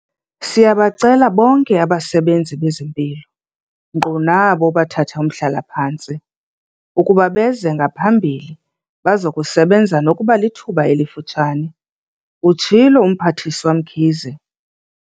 "Siyabacela bonke abasebenzi bezempilo, nkqu nabo bathathaumhlala-phantsi, ukuba beze ngaphambili bazokusebenza nokuba lithuba elifutshane," utshilo uMphathiswa Mkhize.